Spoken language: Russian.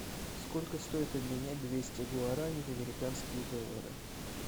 сколько стоит обменять двести гуарани в американские доллары